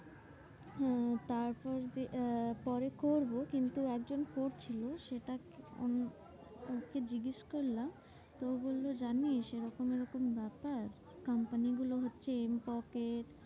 হ্যাঁ তারপর যে আহ পরে করবো কিন্তু একজন করছিলো সেটা আমি ওকে জিজ্ঞেস করলাম? ও বললো জানিস? এরকম এরকম ব্যাপার company গুলো হচ্ছে এম পকেট,